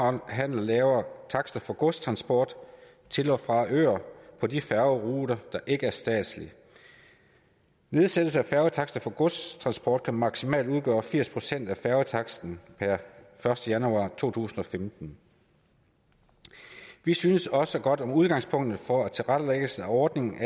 omhandler lavere takster for godstransport til og fra øer på de færgeruter der ikke er statslige nedsættelse af færgetakster for godstransport kan maksimalt udgøre firs procent af færgetaksten per første januar to tusind og femten vi synes også godt om udgangspunktet for tilrettelæggelsen af ordningen